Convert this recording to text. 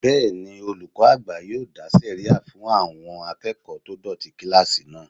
Bẹ́ẹ̀ni, olùkọ́ àgbà yóò dá sẹ̀ríyà fún àwọn akẹ́kọ̀ọ́ tó dọ̀tí kílásì náà